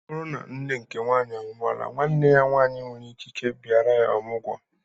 O bụrụ na nne nke nwaanyị anwuola nwanne ya nwanyi nwere ikike bịara ya ọmụgwo